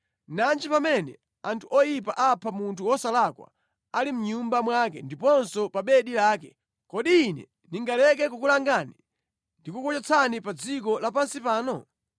Nanji pamene anthu oyipa apha munthu wosalakwa ali mʼnyumba mwake ndiponso pa bedi lake! Kodi ine ndingaleke kukulangani ndi kukuchotsani pa dziko lapansi pano?”